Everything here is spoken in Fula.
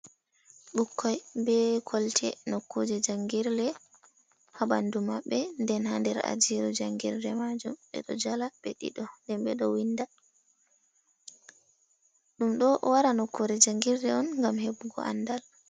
"Ɓikkoi" be kolte nokkuje jangirle ha ɓandu maɓɓe nden ha nder ajiru jangirde majum ɓeɗo jala ɓe ɗiɗo nden ɓeɗo winda. Ɗum ɗo wara nokkuje jangirde on ngam heɓugo andal.